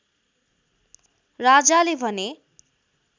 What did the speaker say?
राजाले भने